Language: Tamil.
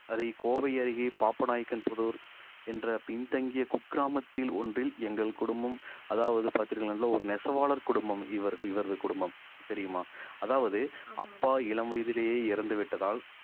கோவை அருகே பாப்பநாயக்கன்புதூர் என்ற பின்தங்கிய குக்கிராமத்தில் ஒன்றில் எங்கள் குடும்பம் அதாவது பார்த்தீர்கள் என்றால் ஒரு நெசவாளர் குடும்பம் இவர் இவரது குடும்பம் தெரியுமா அதாவது அப்பா இளம் வயதிலேயே இறந்து விட்டதால்